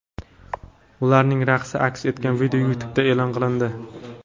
Ularning raqsi aks etgan video YouTube’da e’lon qilindi.